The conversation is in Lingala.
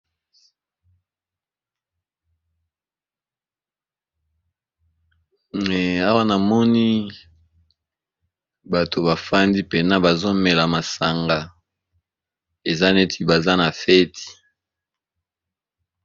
Awa na moni bato bafandi pena bazomela masanga eza neti baza na feti.